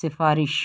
سفارش